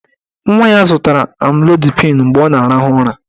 Nwa ya zụtara amlodipịn mgbe ọ na-arahụ ụra.